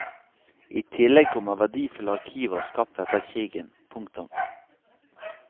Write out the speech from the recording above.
I tillegg kommer verdifulle arkiver skapt etter krigen. punktum